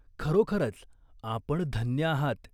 खरोखरच आपण धन्य आहात.